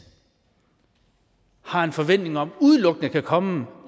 har en forventning om udelukkende kan komme